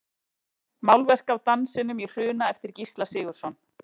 Málverk af Dansinum í Hruna eftir Gísla Sigurðsson.